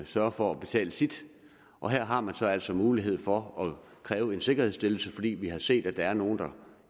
sørger for at betale sit og her har man så altså mulighed for at kræve en sikkerhedsstillelse fordi vi har set at der er nogle der